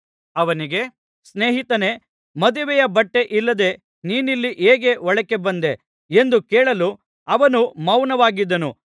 ಅವನಿಗೆ ಸ್ನೇಹಿತನೇ ಮದುವೆಯ ಬಟ್ಟೆ ಇಲ್ಲದೆ ನೀನಿಲ್ಲಿ ಹೇಗೆ ಒಳಕ್ಕೆ ಬಂದೆ ಎಂದು ಕೇಳಲು ಅವನು ಮೌನವಾಗಿದ್ದನು